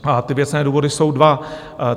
A ty věcné důvody jsou dva.